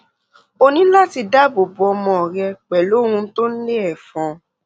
o ní láti dáàbò bo ọmọ rẹ pẹlú ohun tó ń lé ẹfọn